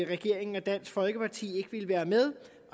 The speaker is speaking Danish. regeringen og dansk folkeparti ikke ville være med